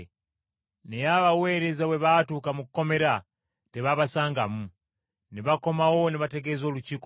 Naye abaweereza bwe baatuuka mu kkomera tebaabasangamu. Ne bakomawo ne bategeeza Olukiiko Olukulu